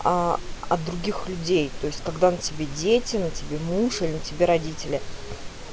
аа от других людей то есть когда на тебе дети на тебе муж и на тебе родители